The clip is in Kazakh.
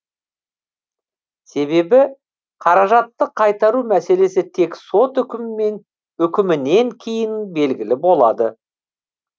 себебі қаражатты қайтару мәселесі тек сот үкімінен кейін белгілі болады